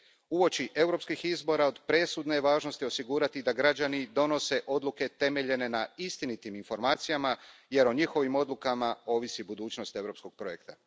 Uoči europskih izbora od presudne je važnosti osigurati da građani donose odluke temeljene na istinitim informacijama jer o njihovim odlukama ovisi budućnost europskog projekta.